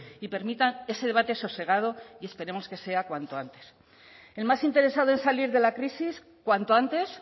y permitan ese debate sosegado que esperemos que sea cuanto antes el más interesado en salir de la crisis cuanto antes